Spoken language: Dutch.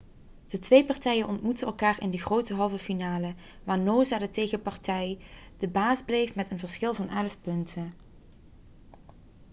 de twee partijen ontmoetten elkaar in de grote halve finale waar noosa de tegenpartij de baas bleef met een verschil van 11 punten